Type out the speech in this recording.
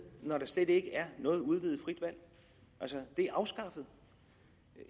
når der slet ikke er noget udvidet frit valg altså det er afskaffet